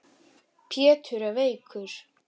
Pétur er veikur.